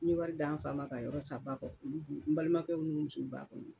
N ye wari di an fa ma ka yɔrɔ san ba kɔ n balimakɛw n'u musow b'a kɔnɔ